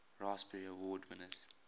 raspberry award winners